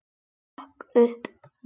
Hurðin hrökk upp!